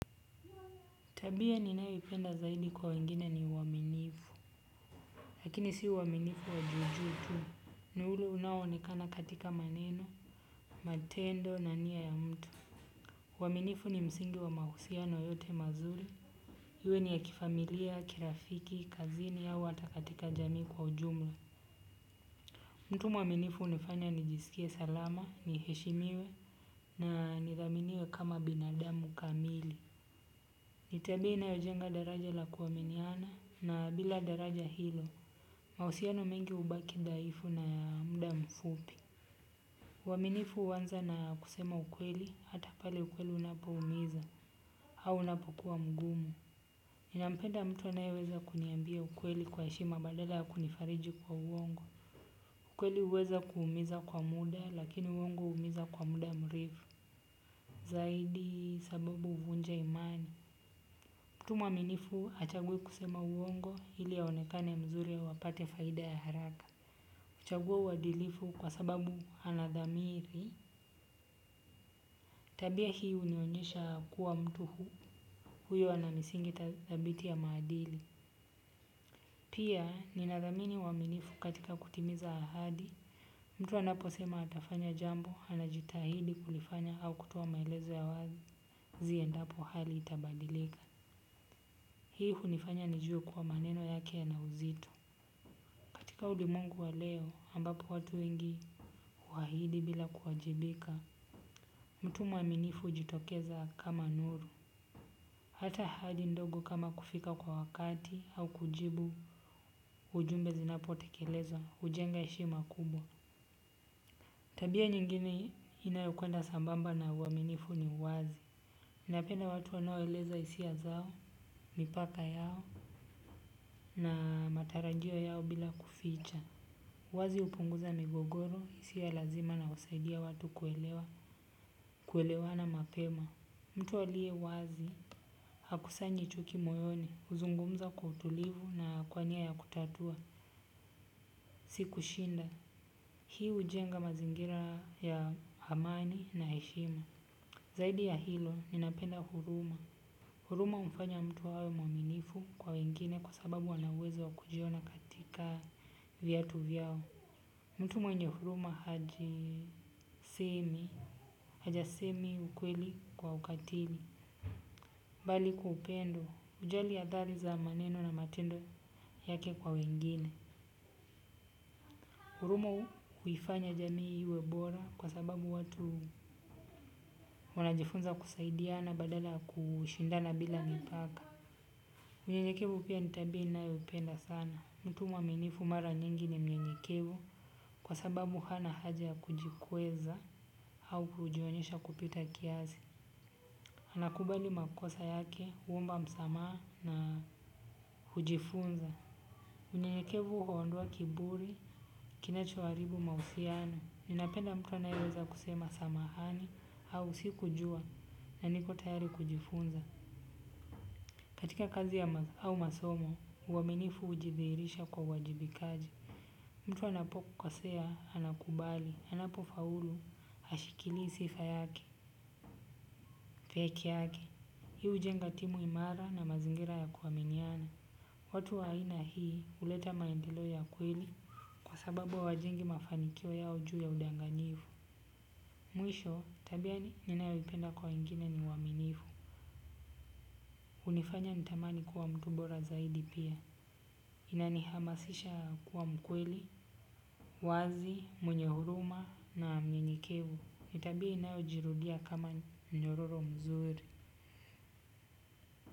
Tabia ninayoipenda zaidi kwa wengine ni uaminifu. Lakini si uaminifu wa juu juu tu. Ni ule unao ni kana katika maneno, matendo na nia ya mtu. Uaminifu ni msingi wa mahusiano yote mazuri. Iwe ni ya kifamilia, kirafiki, kazini au hata katika jamii kwa ujumla. Mtu mwaminifu hunifanya nijisikie salama, niheshimiwe na nidhaminiwe kama binadamu kamili. Ni tabia inayojenga daraja la kuaminiana na bila daraja hilo. Mahusiano mengi hubaki dhaifu na ya muda mfupi. Uaminifu huanza na kusema ukweli, hata pale ukweli unapoumiza, au unapokuwa mgumu. Ninampenda mtu anayeweza kuniambia ukweli kwa hdshima badala ya kunifariji kwa uongo. Ukweli huweza kuumiza kwa muda, lakini uongo huumiza kwa muda mrefu zaidi sababu huvunja imani. Mtu mwaminifu hachagui kusema uongo ili aonekane mzuri au apate faida ya haraka. Huchagua uadilifu kwa sababu anadhamiri tabia hii hunionyesha kuwa mtu, huyo ana misingi thabiti ya maadili. Pia ninadhamini uaminifu katika kutimiza ahadi. Mtu anaposema atafanya jambo, anajitahidi kulifanya au kutoa maelezo ya wazi. Ziendapo hali itabadilika. Hii hunifanya nijue kuwa maneno yake yana uzito. Katika ulimwengu wa leo ambapo watu wengi uhahidi bila kuwajibika. Mtu mwaminifu hujitokeza kama nuru. Hata ahadi ndogo kama kufika kwa wakati au kujibu ujumbe zinapotekeleza hujenga heshima kubwa. Tabia nyingine inayokwenda sambamba na uaminifu ni uwazi. Napenda watu wanoeleza hisia zao, mipaka yao na matarajio yao bila kuficha. Uwazi hupunguza migogoro, isiyo ya lazima na husaidia watu kuelewa, kuelewana mapema. Mtu aliye wazi, hakusanyi chuki moyoni, huzungumza kwa utulivu na kwa nia ya kutatua, si kushinda. Hii hujenga mazingira ya amani na heshima. Zaidi ya hilo, ninapenda huruma. Huruma humfanya mtu awe mwaminifu kwa wengine kwa sababu anaweza kujiona katika viatu vyao. Mtu mwenye huruma hajisemi, hajisemi ukweli kwa ukatili, bali upendo, hujali athari za maneno na matendo yake kwa wengine. Huruma huifanya jamii iwe bora kwa sababu watu wanajifunza kusaidia na badala kushindana bila mipaka. Unyenyekevu pia ni tabia ninayo penda sana. Mtu mwaminifu mara nyingi ni mnyenyekevu kwa sababu hana haja ya kujikweza au kujionyesha kupita kiasi. Anakubali makosa yake, huomba msamaa na hujifunza. Mnyenyekevu huondoa kiburi, kinachoharibu mahusiano. Ninapenda mtu anayeweza kusema samahani au sikujua na niko tayari kujifunza. Katika kazi au masomo, uaminifu ujidhihirisha kwa uwajibikaji. Mtu anapokukosea, anakubali, anapo faulu, hashikilii sifa yake, peke yake. Hi hujenga timu imara na mazingira ya kuaminiana. Watu wa aina hii huleta maendelo ya kweli, kwa sababu hawajengi mafanikio yao juu ya udanganyifu. Mwisho, tabia ninayoipenda kwa wegine ni uaminifu. Hunifanya nitamani kuwa mtu bora zaidi pia. Inanihamasisha kuwa mkweli, mwazi, mwenye huruma na mnyenyekevu. Ni tabia inayojirudia kama mnyororo mzuri.